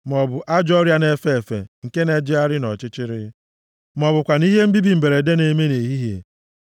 maọbụ ajọ ọrịa na-efe efe, nke na-ejegharị nʼọchịchịrị, ma ọ bụkwanụ ihe mbibi mberede na-eme nʼehihie.